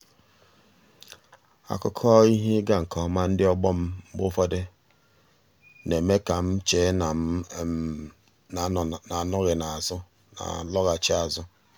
akụkọ ihe ịga nke ọma ndị ọgbọ m mgbe ụfọdụ na-eme ka m chee na m n'anọghachi azụ.